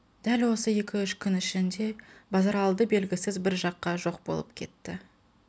дәл осы екі-үш күн ішінде базаралды белгісіз бір жаққа жоқ болып кетті